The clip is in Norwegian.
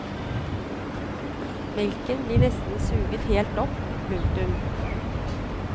Melken blir nesten suget helt opp. punktum